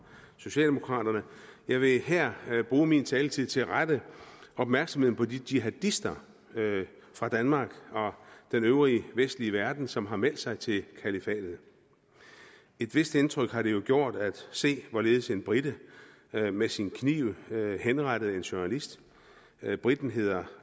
socialdemokraterne jeg vil her bruge min taletid til at rette opmærksomheden på de jihadister fra danmark og den øvrige vestlige verden som har meldt sig til kalifatet et vist indtryk har det jo gjort at se hvorledes en brite med med sin kniv henrettede en journalist briten hedder